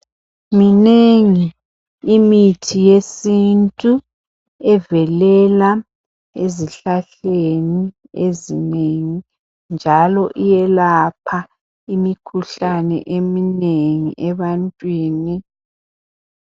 Minengi imithi yesintu evelela ezihlahleni ezinengi njalo iyelapha imikhuhlane eminengi ebantwini.